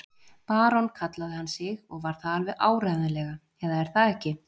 Barón kallaði hann sig og var það alveg áreiðanlega, eða er það ekki?